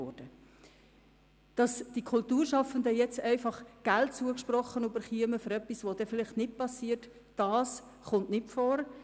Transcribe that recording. Es kommt nicht vor, dass den Kulturschaffenden einfach Geld zugesprochen wird für etwas, das vielleicht doch nicht gemacht wird.